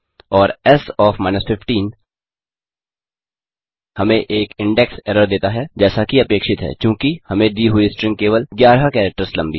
और S OF 15 हमें एक इंडेक्स एरर देता है जैसा की अपेक्षित है चूँकि हमें दी हुई स्ट्रिंग केवल 11 कैरेक्टर्स लम्बी है